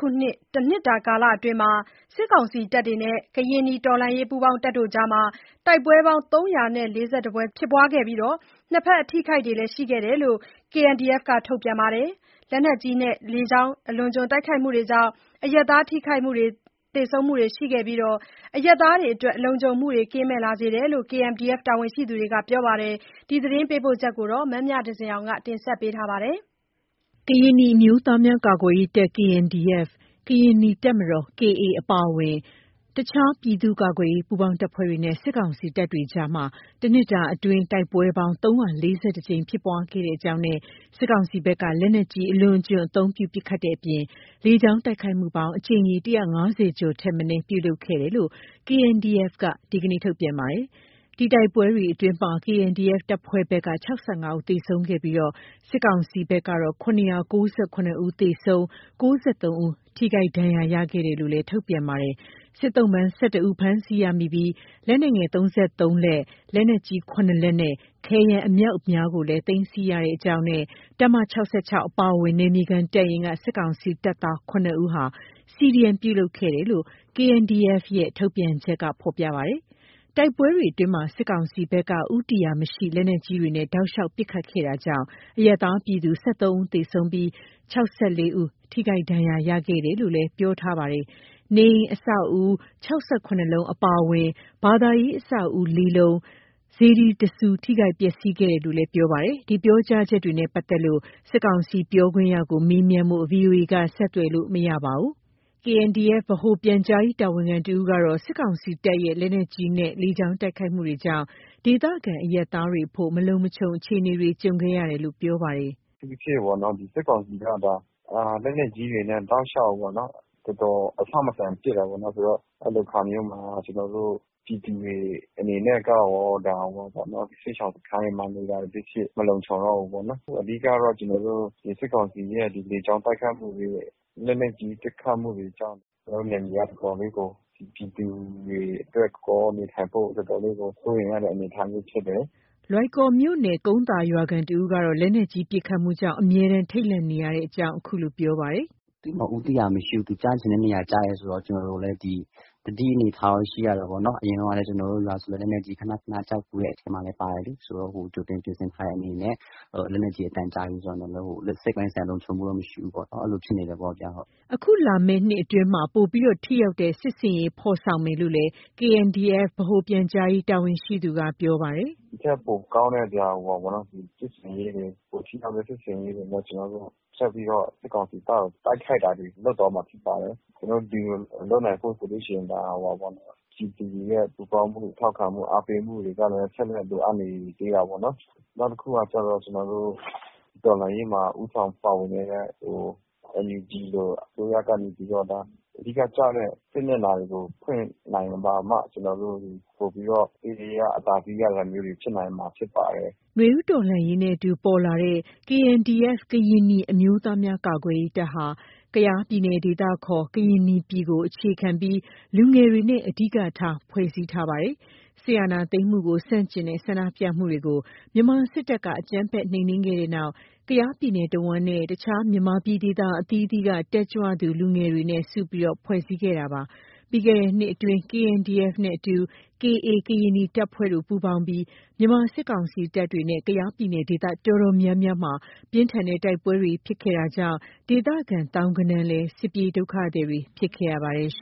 ခုနှစ် တနှစ်တာအတွင်း စစ်ကောင်စီတပ်နဲ့ ကရင်နီတော်လှန်ရေး ပူးပေါင်းတပ်တို့ကြား တိုက်ပွဲပေါင်း ၃၄၁ ကြိမ် ဖြစ်ခဲ့ပြီး နှစ်ဖက်အထိအခိုက်တွေလည်း ရှိတယ်လို့ KNDF က ထုတ်ပြန်ပါတယ်။ လက်နက်ကြီးနဲ့ လေကြောင်းတိုက်ခိုက်မှုတွေကြောင့် အရပ်သားထိခိုက်သေဆုံးမှုတွေရှိခဲ့ပြီး အရပ်သားတွေလုံခြုံမှုကင်းမဲ့လာစေတယ်လို့ KNDF တာဝန်ရှိသူတွေကပြောပါတယ်။ ဒီသတင်းပေးပို့ချက်ကို မမြသဇင်အောင်က တင်ပြပေးထားပါတယ်။ ကရင်နီအမျိုးသားများကာကွယ်ရေးတပ် ၊ ကရင်နီတပ်မတော် အပါအဝင် အခြား ပြည်သူ့ကာကွယ်ရေးပူးပေါင်းတပ်ဖွဲ့တွေနဲ့ စစ်ကောင်စီတပ်တွေကြား တနှစ်အတွင်း တိုက်ပွဲပေါင်း ကြိမ် ဖြစ်ခဲ့ကြောင်းနဲ့ စစ်ကောင်စီဘက်က လက်နက်ကြီး အလွန်အကျွံအသုံးပြု ပစ်ခတ်တဲ့အပြင် လေကြောင်းတိုက်ခိုက်မှုပေါင်း အကြိမ်ရေ ၁၅၀ ကျော်ထက်မနည်း ပြုလုပ်ခဲ့တယ်လို့ KNDF က ဒီနေ့ ထုတ်ပြန်ပါတယ်။ အဲ့ဒီတိုက်ပွဲတွေအတွင် KNDF တပ်ဖွဲ့ဘက်က ဦး သေဆုံးခဲ့ပြီး စစ်ကောင်စီဘက်ကတော့ ၇၉၇ ဦး သေဆုံး၊ ၉၃ ဦး ထိခိုက်ဒဏ်ရာရခဲ့တယ်လို့လည်း ထုတ်ပြန်ပါတယ်။ စစ်သုံ့ပန်း ဦး ဖမ်းဆီးရမိပြီး လက်နက်ငယ် လက်၊ လက်နက်ကြီး လက်နဲ့ ခဲယမ်းအမြောက်အများကိုလည်း သိမ်းဆည်းရကြောင်းနဲ့ တပ်မ အပါအဝင် နယ်မြေခံတပ်ရင်းက စစ်ကောင်စီတပ်သား ဦးဟာ CDM ပြုလုပ်ခဲ့တယ်လို့ KNDF ရဲ့ ထုတ်ပြန်ချက်မှာ ဖော်ပြထားပါတယ်။ တိုက်ပွဲတွေအတွင်း စစ်ကောင်စီဘက်က ဦးတည်ရာမရှိ လက်နက်ကြီးတွေနဲ့ တောက်လျှောက်ပစ်ခတ်ခဲ့တာကြောင့် အရပ်သားပြည်သူ ဦး သေဆုံးပြီး ဦး ထိခိုက်ဒဏ်ရာရရှိတယ်လို့လည်း ပြောထားပါတယ်။ နေအိမ်အဆောက်အဦ လုံး အပါအဝင် ဘာသာရေးအဆောက်အဦ လုံး၊ စေတီ ဆူ ထိခိုက်ပျက်စီးခဲ့လို့ ပြောပါတယ်။ ဒီပြောကြားချက်တွေနဲ့ပတ်သက်လို့ စစ်ကောင်စီပြောခွင့်ရသူကို မေးမြန်းဖို့ VOA က ဆက်သွယ်လို့မရပါဘူး။ KNDF ဗဟိုပြန်ကြားရေး တာဝန်ခံတဦးကတော့ စစ်ကောင်စီတပ်ရဲ့ လက်နက်ကြီးနဲ့ လေကြောင်းတိုက်ခိုက်မှုတွေကြောင့် ဒေသခံအရပ်သားတွေအဖို့ မလုံမခြုံအခြေအနေတွ ကြုံခဲ့ရတယ်လို့ ပြောပါတယ်။ “အထူးသဖြင့်ပေါ့နော် ဒီစစ်ကောင်စီက လက်နက်ကြီးတွေနဲ့ တောက်လျှောက်ပေါ့နော်- အဆမတန် ပစ်တယ်ပေါ့နော်။ ဆိုတော့ အဲ့လိုအခါမျိုးမှာ ကျနော်တု့ိ ပြည်သူတွေအနေနဲ့က စစ်ရှောင်စခန်းမှာနေတာ ဖြစ်ဖြစ် မလုံခြုံတော့ဘူးပေါ့နော်။ အဓိကတော့ ကျနော်တို့ ဒီစစ်ကောင်စီရဲ့ ဒီလေကြောင်းတိုက်ခိုက်မှုတွေ၊ လက်နက်ကြီးပစ်ခတ်မှုတွေကြောင့် ကျနော်တို့ နယ်မြေက တော်တော်လေးကို ပြည်သူတွေအတွက် နေထိုင်ဖို့ တော်တော်လေးကို စိုးရိမ်ရတဲ့အနေအထားမျိုးဖြစ်တယ်။” လွိုင်ကော်မြို့နယ် ကုန်းသာရွာခံတဦးကတော့ လက်နက်ကြီးပစ်ခတ်မှုကြောင့် အမြဲတမ်း ထိတ်လန့်နေရတဲ့အကြောင်း ခုလို ပြောပါတယ်။ “သူ့မှာ ဦးတည်ရာမရှိဘူး။ သူ့ကျချင်တဲ့နေရာကျတယ်ဆိုတော့ ကျနော်တို့လည်း သတိအနေအထားတော့ ရှိရတာပေါ့နော်၊ အရင်တုန်းကလည်း ကျနော်တို့ရွာဆိုလည်း လက်နက်ကြီး ခဏခဏကျဖူးတဲ့အထဲမှာလည်း ပါတယ်လေ။ ဆိုတော့ ကြိုတင်ပြင်ဆင်ထားတဲ့အနေနဲ့ လက်နက်ကြီးအသံကြားပြီဆိုတာနဲ့ စိတ်ပိုင်းဆိုင်ရာလုံခြုံမှုတော့ မရှိဘူးပေါ့နော်၊ အဲ့လိုဖြစ်နေတယ်ပေါ့ဗျာဟုတ်။” အခုလာမယ့်နှစ်အတွင်းမှာ ပိုပြီး ထိရောက်တဲ့စစ်ဆင်ရေးဖော်ဆောင်မယ်လို့လည်း KNDF ဗဟိုပြန်ကြားရေးတာဝန်ရှိသူက ပြောပါတယ်။ “ဒီထက် ပိုကောင်းတဲ့ စစ်ဆင်ရေးတွေ ပိုထိရောက်တဲ့စစ်ဆင်ရေးတွေနဲ့ ကျနော်တို့ ဆက်ပြီးတော့ စစ်ကောင်စီတပ်ကို တိုက်ခိုက်တာတွေ လုပ်သွားမှာဖြစ်ပါတယ်။ ကျနော်တို့ ဒီလိုလုပ်နိုင်ဖို့ဆိုလို့ရှိရင် ပြည်သူတွေရင် ပူးပေါင်းမှု ထောက်ခံမှု၊ အားပေးမှုတွေကလည်း ဆက်လက် လိုအပ်နေသေးတာပေါ့နော်။ နောက်တခုကကျတော့ ကျနော်တို့ တော်လှန်ရေးမှာ ဦးဆောင်ပါဝင်နေတဲ့ NUG လို အစိုးရကနေပြီးတော့ အဓိကကျတဲ့ စစ်မျက်နှာတွေကို ဖွင့်နိုင်မှ ကျနော်တို့တွေ ပိုပြီးတော့ ထိထိရောက်ရောက် အသာစီးရတာမျိုးတွေ ဖြစ်နိုင်မှာဖြစ်ပါတယ်။” နွေဦးတော်လှန်ရေးနဲ့အတူပေါ်လာတဲ့ KNDF ကရင်နီအမျိုးသားများကာကွယ်ရေးတပ်ဟာ ကယားပြည်နယ် ဒေသခေါ် ကရင်နီပြည်ကိုအခြေခံပြီး လူငယ်တွေနဲ့ အဓိကထား ဖွဲ့စည်းထားတာပါ။ စစ်အာဏာသိမ်းမှုကိုဆန့်ကျင်တဲ့ ဆန္ဒပြမှုတွေကို မြန်မာစစ်တပ်က အကြမ်းဖက်နှိမ်နင်းခဲ့တဲ့နောက်၊ ကယားပြည်နယ်တဝှမ်းနဲ့ တခြားမြန်မာပြည်ဒေသအသီးသီးက တက်ကြွသူလူငယ်တွေ စုဖွဲ့ခဲ့တာပါ။ ပြီးခဲ့တဲ့နှစ်အတွင်း KNDF နဲ့အတူ KA ကရင်နီတပ်ဖွဲ့တို့ ပူးပေါင်းပြီး မြန်မာစစ်ကောင်စီတပ်တွေနဲ့ ကယားပြည်နယ်ဒေသအတော်များများမှာ ပြင်းထန်တဲ့တိုက်ပွဲတွေဖြစ်ခဲ့တာကြောင့် ဒေသခံ သောင်းဂဏန်းလည်း စစ်ပြေးဒုက္ခသည်တွေဖြစ်ခဲ့ရပါတယ်